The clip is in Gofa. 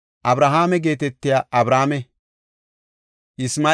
Abrahaame geetetiya Abrame.